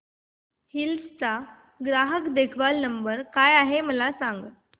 hills चा ग्राहक देखभाल नंबर काय आहे मला सांग